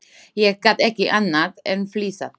Ég gat ekki annað en flissað.